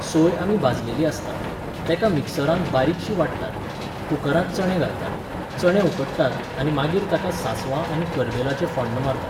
सोय आमी भाजलेली आसता, तेका मिक्सरान बारीकशी वाट्टात, कुकरांत चणे घालतात, चणे उकडटात आनी मागीर ताका सांसवां आनी करबेलाचें फोण्ण मारतात.